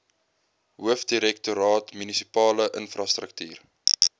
hoofdirektoraat munisipale infrastruktuur